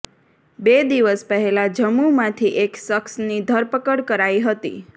બે દિવસ પહેલા જમ્મૂમાંથી એક શખ્સની ધરપકડ કરાઇ હતી